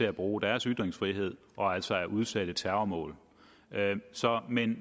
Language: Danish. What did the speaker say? at bruge deres ytringsfrihed og altså dermed bliver udsatte terrormål men